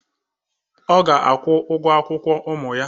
Ọ ga-akwụ ụgwọ akwụkwọ ụmụ ya.